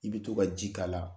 I bi to ka ji k' ala